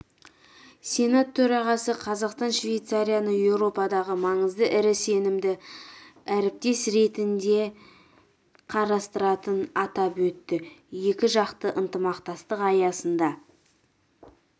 сенат төрағасы қазақстан швейцарияны еуропадағы маңызды әрі сенімді әріптес ретінде қарастыратынын атап өтті екіжақты ынтымақтастық аясында